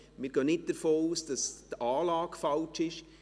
Wir gehen nicht davon aus, dass der Fehler bei der Anlage liegt.